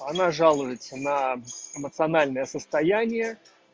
она жалуется на эмоциональное состояние